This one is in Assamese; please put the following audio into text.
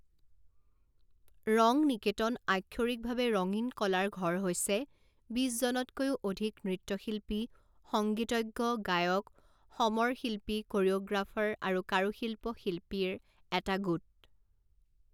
ৰংনিকেতন আক্ষৰিক ভাৱে ৰঙীন কলাৰ ঘৰ হৈছে বিছ জনতকৈও অধিক নৃত্যশিল্পী সংগীতজ্ঞ গায়ক সমৰ শিল্পী কোৰিঅ'গ্ৰাফাৰ আৰু কাৰুশিল্প শিল্পীৰ এটা গোট।